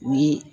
U ye